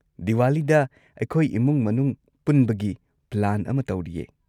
ꯗꯤꯋꯥꯂꯤꯗ ꯑꯩꯈꯣꯏ ꯏꯃꯨꯡ ꯃꯅꯨꯡ ꯄꯨꯟꯕꯒꯤ ꯄ꯭ꯂꯥꯟ ꯑꯃ ꯇꯧꯔꯤꯌꯦ꯫